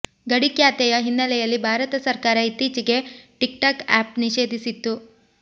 ಗಡಿ ಕ್ಯಾತೆಯ ಹಿನ್ನೆಲೆಯಲ್ಲಿ ಭಾರತ ಸರ್ಕಾರ ಇತ್ತೀಚೆಗೆ ಟಿಕ್ಟಾಕ್ ಆ್ಯಪ್ ನಿಷೇಧಿಸಿತ್ತು